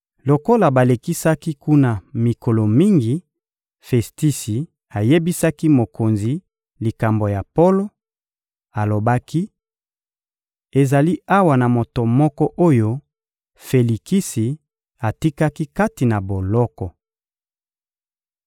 Lokola balekisaki kuna mikolo mingi, Festisi ayebisaki mokonzi likambo ya Polo; alobaki: — Ezali awa na moto moko oyo Felikisi atikaki kati na boloko.